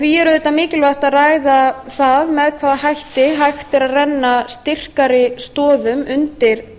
því er auðvitað mikilvægt að ræða það með hvaða hætti hægt er að renna styrkari stoðum undir